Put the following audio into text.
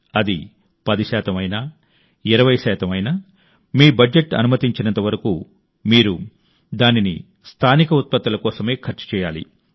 అది 10 శాతం అయినా 20 శాతం అయినా మీ బడ్జెట్ అనుమతించినంత వరకు మీరు దానిని స్థానిక ఉత్పత్తుల కోసమే ఖర్చు చేయాలి